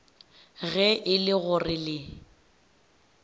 ge e le gore le